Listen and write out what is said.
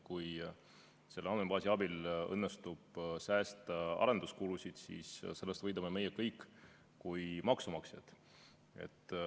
Kui selle andmebaasi abil õnnestub säästa arenduskulusid, siis sellest võidame meie kui maksumaksjad.